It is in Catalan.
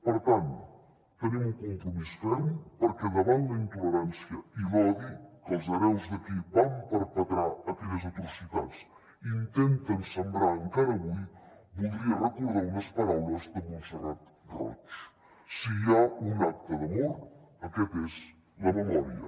per tant tenim un compromís ferm perquè davant la intolerància i l’odi que els hereus de qui van perpetrar en aquelles atrocitats i intenten sembrar encara avui voldria recordar unes paraules de montserrat roig si hi ha un acte d’amor aquest és la memòria